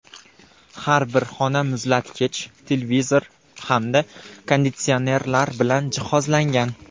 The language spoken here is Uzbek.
Har bir xona muzlatkich, televizor hamda konditsionerlar bilan jihozlangan.